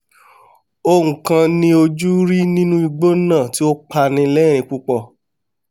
oun kan ni ojú rí nínú igbó náà tí ó pani lẹ́rìín púpọ̀